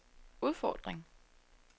udfordring